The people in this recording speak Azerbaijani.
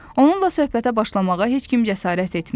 Onunla söhbətə başlamağa heç kim cəsarət etmir.